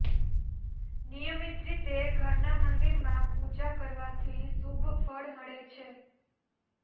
નિયમિત રીતે ઘરના મંદિરમાં પૂજા કરવાથી શુભ ફળ મળે છે